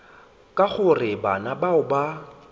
ka gore bana bao ba